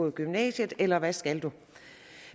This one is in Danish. i gymnasiet eller hvad skal du